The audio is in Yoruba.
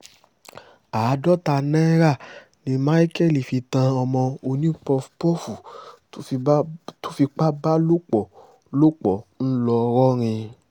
àádọ́ta náírà ni michael fi tan ọmọ onípófófófù tó fipá bá lò pọ̀ lò pọ̀ ńlọrọrìn